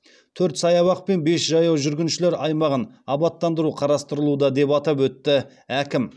төрт саябақ пен бес жаяу жүргіншілер аймағын абаттандыру қарастырылуда деп атап өтті әкім